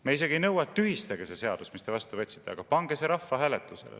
Me isegi ei nõua, et tühistage see seadus, mille te vastu võtsite, vaid pange see rahvahääletusele.